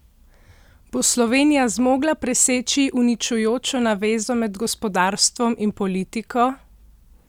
Bo Slovenija zmogla preseči uničujočo navezo med gospodarstvom in politiko?